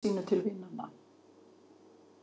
Svo sneri hún máli sínu til vinanna.